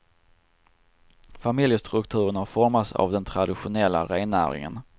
Familjestrukturen har formats av den traditionella rennäringen.